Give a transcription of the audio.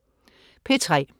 P3: